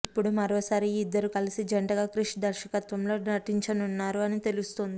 ఇప్పుడు మరోసారి ఈ ఇద్దరూ కలిసి జంటగా క్రిష్ దర్శకత్వంలో నటించనున్నారు అని తెలుస్తోంది